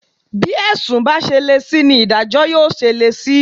Bí ẹ̀sùn bá ṣe le sí ni ìdájọ́ yóò ṣe le sí